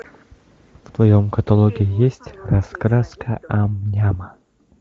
в твоем каталоге есть раскраска ам няма